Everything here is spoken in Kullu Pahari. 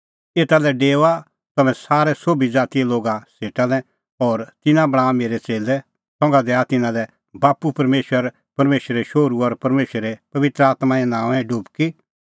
एता लै डेओआ तम्हैं संसारे सोभी ज़ातीए लोगा सेटा लै और तिन्नां बणांआ मेरै च़ेल्लै संघा दैआ तिन्नां लै बाप्पू परमेशर परमेशर शोहरू और परमेशर पबित्र आत्में नांओंऐं डुबकी